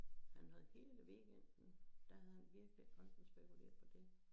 Han havde kigget ved weekenden der havde han virkelig rendt og spekuleret på dét